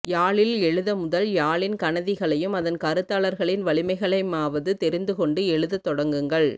யாழில் எழுதமுதல் யாழின் கனதிகளையும் அதன் கருத்தாளர்களின் வலிமைகளையமாவது தெரிந்து கொண்டு எழுதத்தொடங்குங்கள்